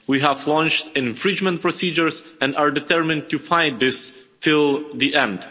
We have launched infringement procedures and are determined to find this till the end.